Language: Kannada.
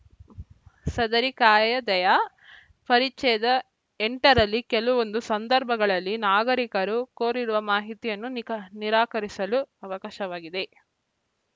ಸದರಿ ಕಾಯ್ದೆಯ ಪರಿಚ್ಛೇದ ಎಂಟರಲ್ಲಿ ಕೆಲವೊಂದು ಸಂದರ್ಭಗಳಲ್ಲಿ ನಾಗರಿಕರು ಕೋರಿರುವ ಮಾಹಿತಿಯನ್ನು ನಿಕಾ ನಿರಾಕರಿಸಲು ಅವಕಾಶವಾಗಿದೆ